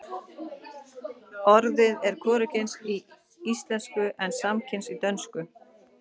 Orðið er hvorugkyns í íslensku en samkyns í dönsku.